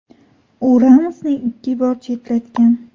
U Ramosni ikki bor chetlatgan.